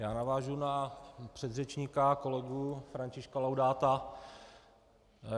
Já navážu na předřečníka kolegu Františka Laudáta.